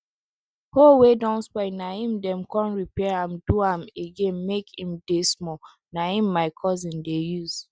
hoe wey don spoil na em dem con repair am do am again make em dey small na em my cousin dey use